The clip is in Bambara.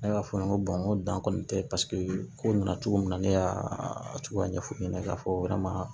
Ne y'a fɔ n ye n ko dan kɔni tɛ paseke ko nana cogo min na ne y'a cogoya ɲɛf'u ɲɛna k'a fɔ